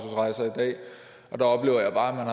der oplever jeg bare